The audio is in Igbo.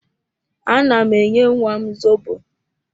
Ana m enye nwam zobo